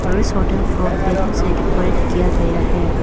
और इस होटल को बैलून से डेकोरेट किया गया है।